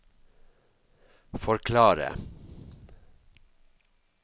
forklare